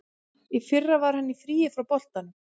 Í fyrra var hann í fríi frá boltanum.